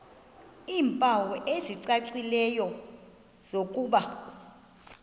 iimpawu ezicacileyo zokuba